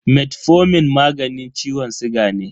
Metformin magani ciwon siga ne.